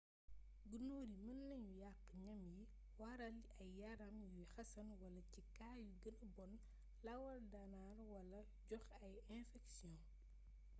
gunóor yi mën nañu yàq ñam yi waral ay yaram yuy xasan wala ci kaa yu gëna bon lawaal daŋar wala joxe ay infeksiyon